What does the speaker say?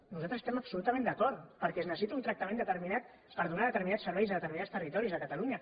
nosaltres hi estem absolutament d’acord perquè es necessita un tractament determinat per donar determinats serveis a determinats territoris de catalunya